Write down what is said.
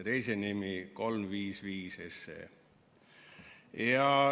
ja teise nimi 355 SE.